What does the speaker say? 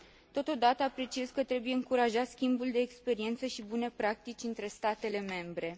Totodată, apreciez că trebuie încurajat schimbul de experiență și bune practici între statele membre.